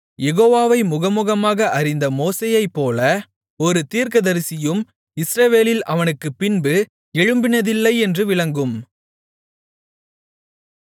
யெகோவாவை முகமுகமாக அறிந்த மோசேயைப்போல ஒரு தீர்க்கதரிசியும் இஸ்ரவேலில் அவனுக்குப்பின்பு எழும்பினதில்லை என்று விளங்கும்